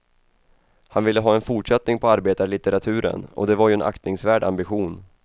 Han ville ha en fortsättning på arbetarlitteraturen, och det var ju en aktningsvärd ambition.